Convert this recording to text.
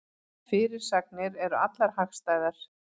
Fyrirsagnir eru allar hagstæðar